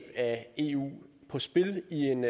af eu på spil i en